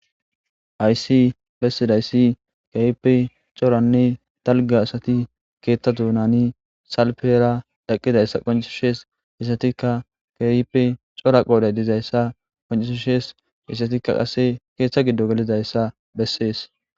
Hayssi besidayssi keehippe coranne dalgga asati keetha doonani salfera eqidayssa qonccisees. Izatikka keehippe cora qoore dizayssa qoncisees. Hessatika qasse keetha gidon gelidayssa besees.